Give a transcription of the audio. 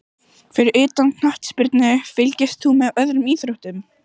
Fyrir utan knattspyrnu, fylgist þú með öðrum íþróttum?